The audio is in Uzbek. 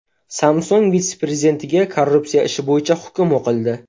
Samsung vitse-prezidentiga korrupsiya ishi bo‘yicha hukm o‘qildi.